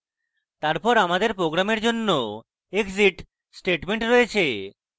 তারপর আমাদের program জন্য exit statement রয়েছে